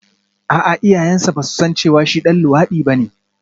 A'a iyayensa ba su san cewa shi ɗan luwaɗi ne ba